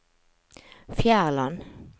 Fjærland